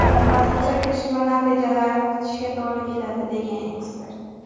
Hozircha tekshiruv natijalarini kutishga to‘g‘ri keladi”, degan ekspert.